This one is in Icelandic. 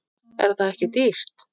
Er það ekki dýrt?